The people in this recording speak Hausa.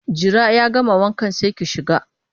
Jira ya gama wankan sai ki shiga!